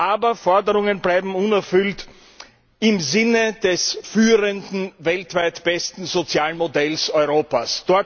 Aber Forderungen bleiben unerfüllt im Sinne des führenden, weltweit besten sozialen Modells Europas.